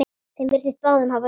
Þeim virtist báðum hafa sárnað.